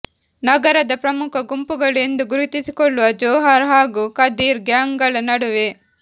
ನಗರದ ಪ್ರಮುಖ ಗುಂಪುಗಳು ಎಂದು ಗುರುತಿಸಿಕೊಳ್ಳುವ ಜೋಹರ್ ಹಾಗೂ ಕದೀರ್ ಗ್ಯಾಂಗ್ ಗಳ ನಡುವೆ